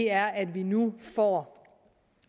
er at vi nu får